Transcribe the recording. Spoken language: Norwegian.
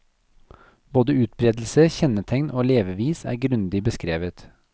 Både utbredelse, kjennetegn og levevis er grundig beskrevet.